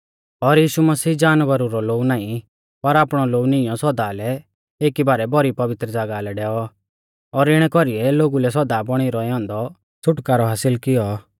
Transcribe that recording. और यीशु मसीह जानवरा रौ लोऊ नाईं पर आपणौ लोऊ निईंयौ सौदा लै एकी बारै भौरी पवित्र ज़ागाह लै डैऔ और इणै कौरीऐ लोगु लै सौदा बौणी रौऐ औन्दौ छ़ुटकारौ हासिल कियौ